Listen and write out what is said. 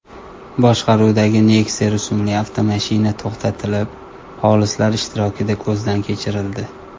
boshqaruvidagi Nexia rusumli avtomashina to‘xtatilib, xolislar ishtirokida ko‘zdan kechirildi.